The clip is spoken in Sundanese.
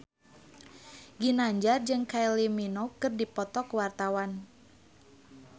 Ginanjar jeung Kylie Minogue keur dipoto ku wartawan